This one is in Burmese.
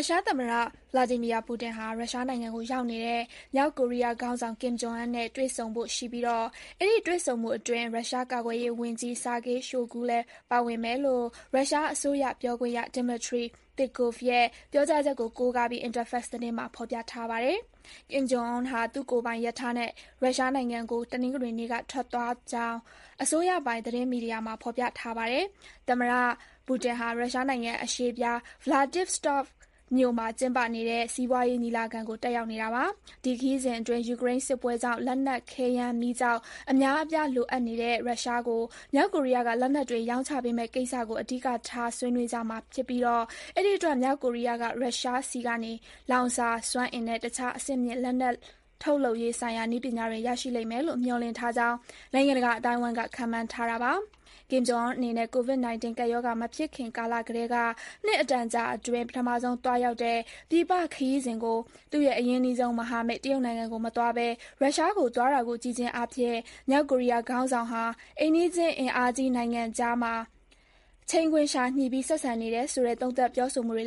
ုရှားသမ္မတ ဗလာဒီမီယာပူတင် (Vladimir Putin) နဲ့ တွေ့ဆုံဖို့ရှိပြီး အဲဒီ တွေ့ဆုံမှုအတွင်း ရုရှားကာကွယ်ရေးဝန်ကြီး Sergei Shoigu လည်း ပါဝင်မယ်လို့ ရုရှားအစိုးရပြောခွင့်ရ Dmitry Peskov ရဲ့ ပြောဆိုချက်ကို ကိုးကားပြီး Interfex သတင်းမှာ ဖော်ပြထားပါတယ်။ ကင်ဂျုံအွန်ဟာ သူ့ကိုယ်ပိုင် ရထားနဲ့ ရုရှားနိုင်ငံကို တနင်္ဂနွေနေ့က ထွက်ခွာသွားကြောင်း အစိုးရပိုင် သတင်းမီဒီယာမှာ ဖော်ပြထားပါတယ်။ သမ္မတပူတင်ဟာ ရုရှားနိုင်ငံ အရှေ့ဖျား Vladivostok (ဗလာဒါ ဗာစကာ) မြို့မှာ ကျင်းပနေတဲ့ စီးပွားရေးညီလာခံကို တက်ရောက်နေတာပါ။ ဒီခရီးစဉ်အတွင်း ယူကရိန်းစစ်ပွဲကြောင့် လက်နက် ခဲယမ်းမီးကျောက် အများအပြား လိုအပ်နေတဲ့ ရုရှားကို မြောက်ကိုရီးယားက လက်နက်တွေ ရောင်းချပေးမယ့်ကိစ္စကို အဓိကထား ဆွေးနွေးကြမှာဖြစ်ပြီး အဲဒီအတွက် မြောက်ကိုရီးယားက ရုရှားထံကနေ လောင်စာစွမ်းအင်နဲ့ တခြား အဆင့်မြင့် လက်နက်ထုတ်လုပ်ရေးဆိုင်ရာ နည်းပညာတွေ ရရှိလိမ့်မယ်လို့ မျှော်လင့်ထားကြောင်း နိုင်ငံတကာ အသိုင်းအဝိုင်းက ခန့်မှန်းထားကြပါတယ်။ ကင်ဂျုံအွန်အနေနဲ့ ကိုဗစ် 19 ကပ်ရောဂါ မဖြစ်ခင်ကာလကတည်းက နှစ်အတန်ကြာအတွင်း ပထမဆုံး သွားရောက်တဲ့ ပြည်ပခရီးစဉ်အဖြစ် သူ့ရဲ့ အရင်းနှီးဆုံးမဟာမိတ် တရုတ်နိုင်ငံကိုမသွားဘဲ ရုရှားကိုသွားတာကို ကြည့်ခြင်းအားဖြင့် မြောက်ကိုရီးယားခေါင်းဆောင်ဟာ အိမ်နီးချင်း အင်အားကြီး နှစ်နိုင်ငံအကြား ချိန်ခွင်လျှာညှိပြီး ဆက်ဆံနေတယ်ဆိုတဲ့ သုံးသပ်ပြောဆိုမှုတွေ